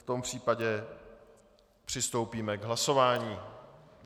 V tom případě přistoupíme k hlasování.